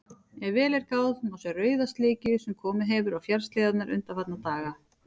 Ef vel er gáð, má sjá rauða slikju sem komið hefur á fjallshlíðarnar undanfarna daga.